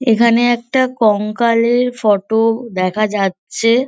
এখানে একটা কঙ্কালের ফটো দেখা যাচ্ছে।